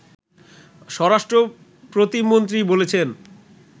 স্বরাষ্ট্র প্রতিমন্ত্রী বলেছেন